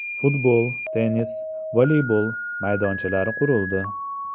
Futbol, tennis, voleybol maydonchalari qurildi.